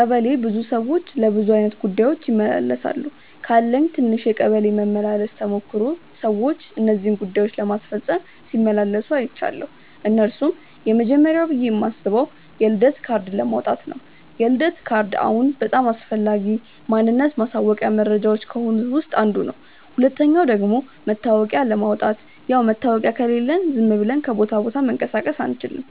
ቀበሌ ብዙ ሰዎች ለብዙ አይነት ጉዳዮች ይመላለሳሉ። ካለኝ ትንሽ የቀበሌ መመላለስ ተሞክሮ ሰዎች እነዚህን ጉዳዮች ለማስፈጸም ሲመላለሱ አይችያለው። እነርሱም፦ የመጀመርያው ብዬ ማስበው የልደት ካርድ ለማውጣት ነው፤ የልደት ካርድ አሁን በጣም አስፈላጊ ማንነት ማሳወቂያ መረጃዎች ከሆኑት ውስጥ አንዱ ነው። ሁለተኛው ደግሞ መታወቂያ ለማውጣት፣ ያው መታወቂያ ከሌለን ዝም ብለን ከቦታ ቦታ መንቀሳቀስ አንችልም።